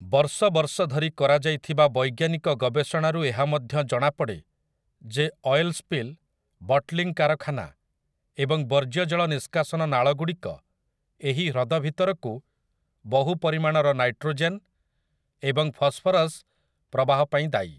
ବର୍ଷ ବର୍ଷ ଧରି କରାଯାଇଥିବା ବୈଜ୍ଞାନିକ ଗବେଷଣାରୁ ଏହା ମଧ୍ୟ ଜଣାପଡ଼େ ଯେ ଅୟେଲ୍ ସ୍ପିଲ୍, ବଟଲିଂ କାରଖାନା ଏବଂ ବର୍ଜ୍ୟଜଳ ନିଷ୍କାସନ ନାଳଗୁଡ଼ିକ ଏହି ହ୍ରଦ ଭିତରକୁ ବହୁ ପରିମାଣର ନାଇଟ୍ରୋଜେନ୍ ଏବଂ ଫସ୍‌ଫରସ୍ ପ୍ରବାହ ପାଇଁ ଦାୟୀ ।